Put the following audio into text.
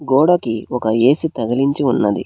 గోడకి ఒక ఏ_సి తగిలించి ఉన్నది.